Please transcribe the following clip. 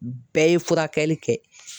Bɛɛ ye furakɛli kɛ.